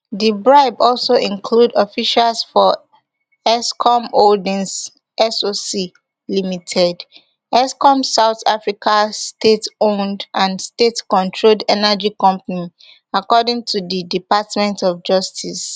di bribe also include officials for eskom holdings soc ltd eskom south africa stateowned and statecontrolled energy company according to di department of justice